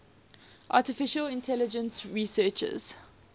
artificial intelligence researchers